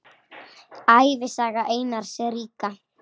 Ævisaga Einars ríka